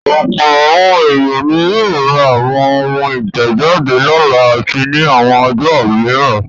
Ọ̀pọ̀ àwọn ènìyàn ni yóò ra àwọn ohun ìtẹ̀jáde lọ́la àti ní àwọn ọjọ́ mìíràn.